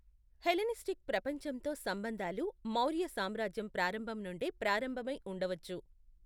Hellenistic ప్రపంచంతో సంబంధాలు మౌర్య సామ్రాజ్యం ప్రారంభం నుండే ప్రారంభమై ఉండవచ్చు.